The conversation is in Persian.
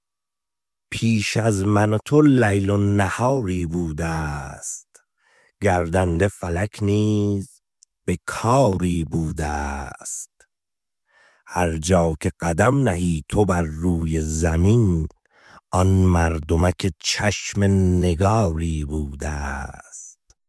پیش از من و تو لیل و نهاری بوده ست گردنده فلک نیز به کاری بوده است هر جا که قدم نهی تو بر روی زمین آن مردمک چشم نگاری بوده ست